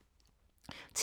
TV 2